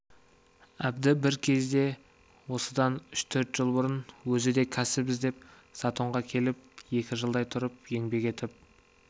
әбді бір кезде осыдан үш-төрт жыл бұрын өзі де кәсіп іздеп затонға келіп екі жылдай тұрып еңбек етіп